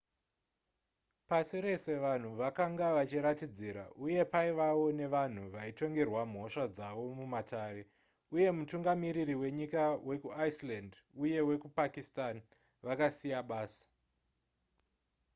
pasi rese vanhu vakanga vachiratidzira uye paivawo nevanhu vaitongerwa mhosva dzavo mumatare uye mutungamiriri wenyika wekuiceland uye wekupakistan vakasiya basa